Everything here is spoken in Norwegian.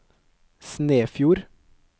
Snefjord